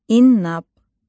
İnab